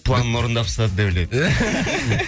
планың орындап тастады деп ойлайды